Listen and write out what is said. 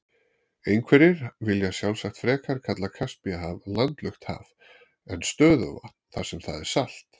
Einhverjir vilja sjálfsagt frekar kalla Kaspíahaf landlukt haf en stöðuvatn þar sem það er salt.